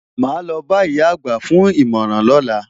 Màá lo bá ìyá àgbà fún ìmọ̀ràn lọ́la.